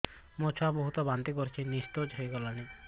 ମୋ ଛୁଆ ବହୁତ୍ ବାନ୍ତି କରୁଛି ନିସ୍ତେଜ ହେଇ ଗଲାନି